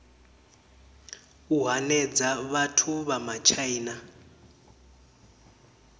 u hanedza vhathu vha matshaina